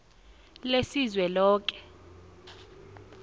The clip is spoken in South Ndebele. lesizweloke